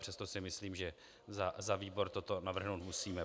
Přesto si myslím, že za výbor toto navrhnout musíme.